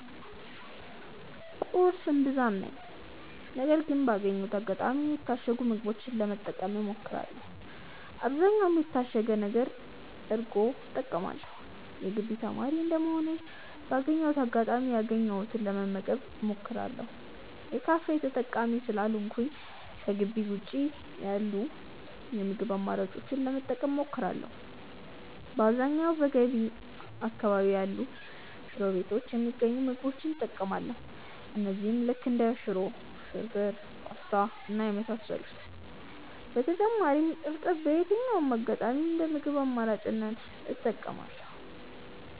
ቁርስ እምብዛም ነኝ ግን ባገኘሁት አጋጣሚ የታሸጉ ምግቦችን ለመጠቀም እሞክራለው በአብዛኛውም የታሸገ እርጎ እጠቀማለው። የግቢ ተማሪ እንደመሆኔ ባገኘሁት አጋጣሚ ያገኘሁትን ለመመገብ እሞክራለው። የካፌ ተጠቃሚ ስላልሆንኩኝ ከጊቢ ውጪ ያሉ የምግብ አማራጮችን ለመጠቀም እሞክራለው። በአብዛኛውም በገቢ አካባቢ ያሉ ሽሮ ቤቶች የሚገኙ ምግቦች እጠቀማለው እነዚህም ልክ እንደ ሽሮ፣ ፍርፉር፣ ፖስታ እና የመሳሰሉት። በተጨማሪም እርጥብ በየትኛውም አጋጣሚ እንደ ምግብ አማራጭ እጠቀማለው።